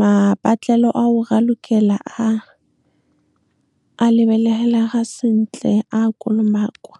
mabatlelo a o ralokela a lebeleha sentle a kolomakwa.